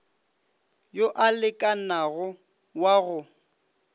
yo a lekanago wa go